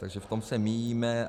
Takže v tom se míjíme.